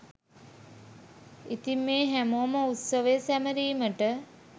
ඉතින් මේ හැමෝම උත්සවය සැමරීමට